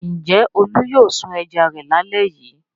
Ǹjẹ́ Olú yóò sun ẹja rẹ̀ lálẹ́ yìí?